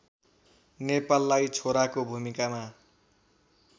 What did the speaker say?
नेपाललाई छोराको भुमिकामा